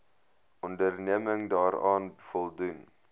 onderneming daaraan voldoen